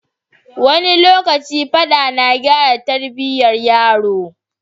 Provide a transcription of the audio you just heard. Wani lokaci Faɗa na gyara Tarbiyya yaro